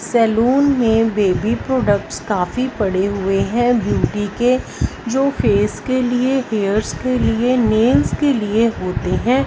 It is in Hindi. सैलून में बेबी प्रोडक्ट्स काफी पड़े हुए हैं ब्यूटी के जो फेस के लिए हेयर्स के लिए नेल्स के लिए होते हैं।